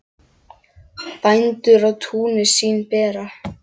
Bændur á túnin sín bera.